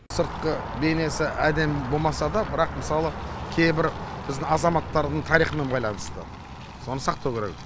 сыртқы бейнесі әдемі болмаса да бірақ мысалы кейбір біздің азаматтардың тарихымен байланысты соны сақтау керек